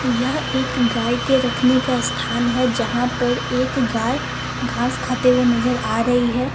यह एक गाय के रखने का स्थान है जहां पर एक गाय घास खाते हुए नजर आ रही है।